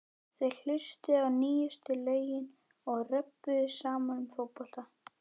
Þeir hlustuðu á nýjustu lögin og röbbuðu saman um fótbolta.